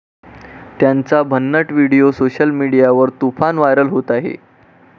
त्यांचा भन्नट video social मीडियावर तुफान व्हायरल होत आहे.